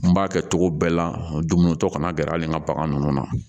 N b'a kɛ cogo bɛɛ la dumuni tɔ kana gɛrɛ a le ka bagan ninnu na